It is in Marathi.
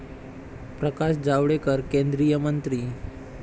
प्रकाश जावडेकर, केंद्रीय मंत्री